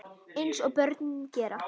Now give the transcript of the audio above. Eins og börn gera.